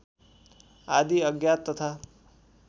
आदि अज्ञात तथा